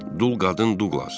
Dul qadın Duqlas.